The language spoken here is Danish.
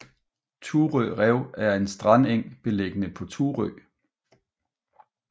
Thurø Rev er en strandeng beliggende på Thurø